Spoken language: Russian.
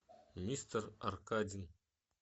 мистер аркадин